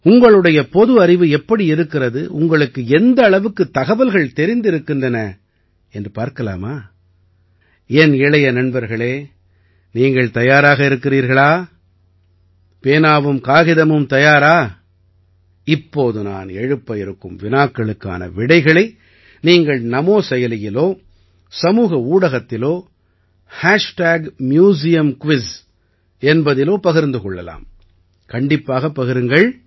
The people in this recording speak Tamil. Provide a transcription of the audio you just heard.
உங்களுடைய பொது அறிவு எப்படி இருக்கிறது உங்களுக்கு எந்த அளவுக்குத் தகவல்கள் தெரிந்திருக்கின்றன என்று பார்க்கலாமா என் இளைய நண்பர்களே நீங்கள் தயாராக இருக்கிறீர்களா பேனாவும் காகிதமும் தயாரா இப்போது நான் எழுப்ப இருக்கும் வினாக்களுக்கான விடைகளை நீங்கள் நமோ செயலியிலோ சமூக ஊடகத்திலோ மியூசியம்குயிஸ் என்பதிலோ பகிர்ந்து கொள்ளலாம் கண்டிப்பாகப் பகிருங்கள்